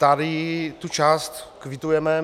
Tady tu část kvitujeme.